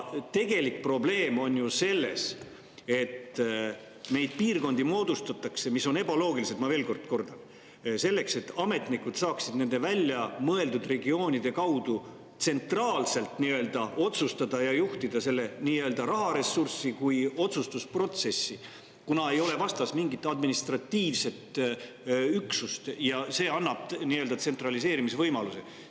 Tegelik probleem on ju selles, et moodustatakse piirkondi, mis on ebaloogilised, ma veel kord kordan, selleks, et ametnikud saaksid nende väljamõeldud regioonide kaudu nii-öelda tsentraalselt otsustada ja juhtida seda nii-öelda raharessurssi ja ka otsustusprotsessi, kuna vastas ei ole mingit administratiivset üksust, mis annab nii-öelda tsentraliseerimise võimaluse.